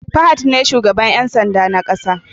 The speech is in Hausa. Fahad ne shugaban Yan sanda na ƙasa